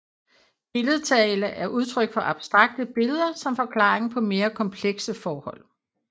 Billedtale er udtryk for brug af abstrakte billeder som forklaring på mere komplekse forhold